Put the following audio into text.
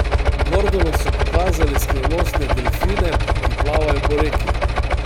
Gordonu so pokazali skrivnostne delfine, ki plavajo po reki.